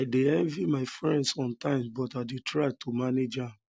i dey um envy my friend sometimes but i dey try um to manage am